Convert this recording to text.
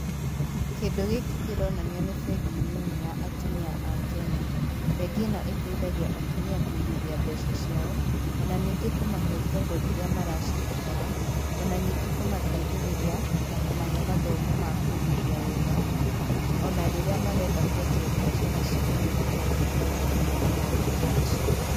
Kĩndũ gĩkĩ kĩronania nĩ bengi nini ya atumia a Kenya. Bengi ĩno ĩteithagia atumia kũigithia mbeca ciao,o na ningĩ kũmahe ngombo rĩrĩa maracibatara ,o na ningĩ kũmateithĩrĩria na kũmahe mathomo ma kũigithia wega,o na rĩrĩa marenda kwanjia biacara ciao nĩ ĩmateithagĩrĩria na maũndũ ta macio.